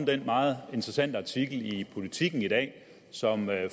den meget interessante artikel i politiken i dag som